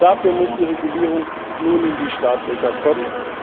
Aber dafür muss die Regulierung nun in die Startlöcher kommen.